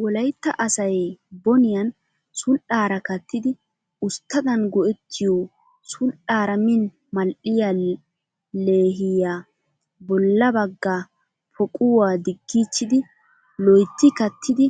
Wolayitta asay boniyan sul'aara kattidi usttadan go'ettiyoo sul''aaraa min mal'iyaa leehiyaa. bolla bagga poquwaa diggiichchidi loyitti kattidi